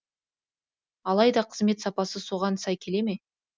алайда қызмет сапасы соған сай келе ме